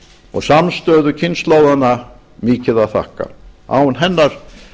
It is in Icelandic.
og samstöðu kynslóðanna mikið að þakka án hennar